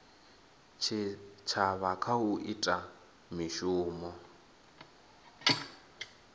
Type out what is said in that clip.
tshitshavha kha u ita mishumo